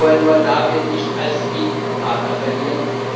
Wir wollen Moldawien nicht als EU Partner verlieren.